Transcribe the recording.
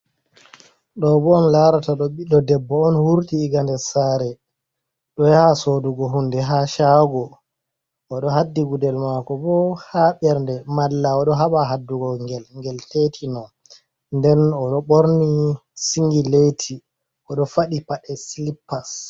Ɗo bo on larata ɗo ɓiɗɗo debbo on wurti iga nder sare ɗo yaha sodugo hunde ha chago, oɗo haddi gudel mako bo ha bernde malla o ɗo haɓa haddugo ngel ngel tetino. Nden o ɗo ɓorni singi leti oɗo faɗi paɗe silippas.